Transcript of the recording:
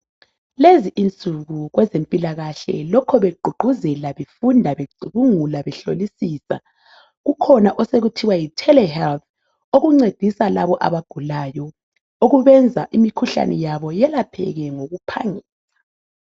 Lezi insuku kwezempilakahle lokhu begqugquzela, befunda, becubungula behlolisisa, kukhona osekuthiwa yi"Telehealth" okuncedisa labo abagulayo okubenza imikhuhlane yabo yelapheke ngokuphangisa .